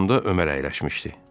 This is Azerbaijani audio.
Yanımda Ömər əyləşmişdi.